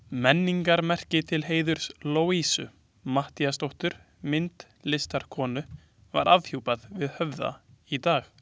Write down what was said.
Menningarmerki til heiðurs Louisu Matthíasdóttur myndlistarkonu var afhjúpað við Höfða í dag.